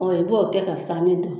Ɔ i b'o kɛ ka sanni don.